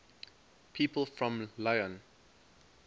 people from lyon